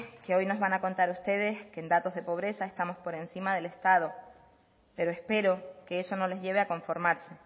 que hoy nos van a contar ustedes que en datos pobreza estamos por encima del estado pero espero que eso no les lleve a conformarse